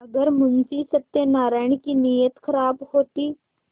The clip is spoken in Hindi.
अगर मुंशी सत्यनाराण की नीयत खराब होती